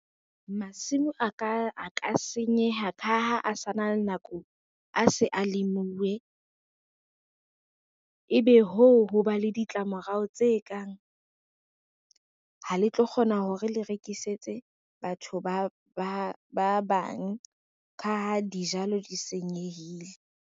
Masimo a ka senyeha ka ha a sa na le nako a se a lemuwe. Ebe hoo ho ba le ditlamorao tse kang, ha le tlo kgona hore le rekisetse batho ba bang, ka ha dijalo di senyehile.